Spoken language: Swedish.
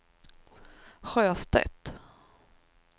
Sjöstedt